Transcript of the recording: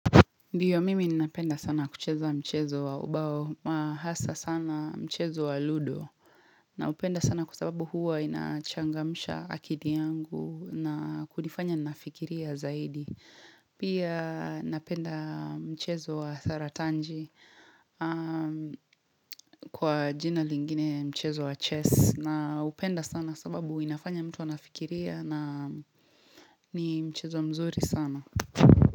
Ndiyo mimi ninapenda sana kucheza mchezo wa ubao, hasa sana mchezo wa ludo, na upenda sana kwa sababu huwa inachangamsha akili yangu na kunifanya nafikiria zaidi. Pia napenda mchezo wa saratanji kwa jina lingine mchezo wa chess, na upenda sana sababu inafanya mtu anafikiria na ni mchezo mzuri sana.